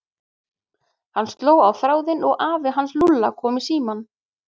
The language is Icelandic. Hann sló á þráðinn og afi hans Lúlla kom í símann.